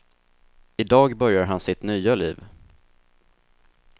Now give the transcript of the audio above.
I dag börjar han sitt nya liv.